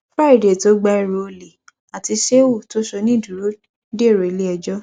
friday tó gba ẹrù olè àti shehu tó ṣonídùúró dèrò iléẹjọ